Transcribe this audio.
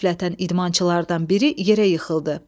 Qəflətən idmançılardan biri yerə yıxıldı.